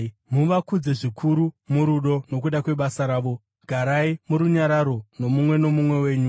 Muvakudze zvikuru murudo nokuda kwebasa ravo. Garai murunyararo nomumwe nomumwe wenyu.